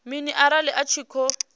mini arali a tshi khou